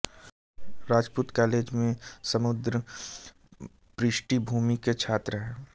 Rajput college में समृद्ध पृष्ठभूमि के छात्र हैं